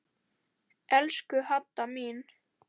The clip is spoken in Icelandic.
Elsku Hadda mín.